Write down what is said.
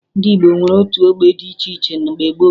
Ndị Igbo nwere otu ọgbọ dị iche iche mgbe gboo